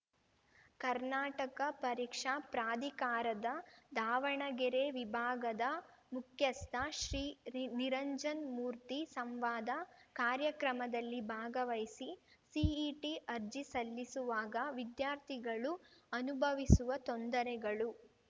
ಕರ್ನಾಟಕ ಪರೀಕ್ಷಾ ಪ್ರಾಧಿಕಾರದ ದಾವಣಗೆರೆ ವಿಭಾಗದ ಮುಖ್ಯಸ್ಥ ಶ್ರೀ ರಿ ನಿರಂಜನ್‌ಮೂರ್ತಿ ಸಂವಾದ ಕಾರ್ಯಕ್ರಮದಲ್ಲಿ ಭಾಗವಹಿಸಿ ಸಿಇಟಿ ಅರ್ಜಿಸಲ್ಲಿಸುವಾಗ ವಿದ್ಯಾರ್ಥಿಗಳು ಅನುಭವಿಸುವ ತೊಂದರೆಗಳು